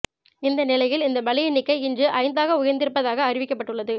இந்த நிலையில் இந்த பலி எண்ணிக்கை இன்று ஐந்தாக உயர்ந்திருப்பதாக அறிவிக்கப்பட்டுள்ளது